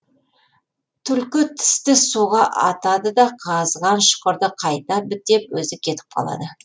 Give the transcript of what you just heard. түлкі тісті суға атады да қазған шұқырды қайта бітеп өзі кетіп қалады